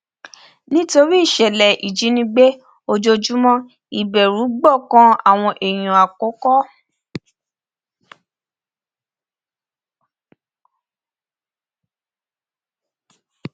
nítorí ìṣẹlẹ ìjínigbé ojoojúmọ ìbẹrù gbọkàn àwọn èèyàn àkọkọ